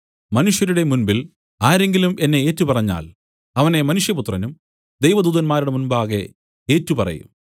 മനുഷ്യരുടെ മുമ്പിൽ ആരെങ്കിലും എന്നെ ഏറ്റുപറഞ്ഞാൽ അവനെ മനുഷ്യപുത്രനും ദൈവദൂതന്മാരുടെ മുമ്പാകെ ഏറ്റുപറയും